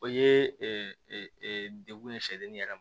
O ye degun ye sɛden yɛrɛ ma